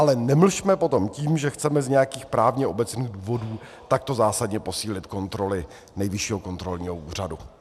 Ale nemlžme potom tím, že chceme z nějakých právně obecných důvodů takto zásadně posílit kontroly Nejvyššího kontrolního úřadu.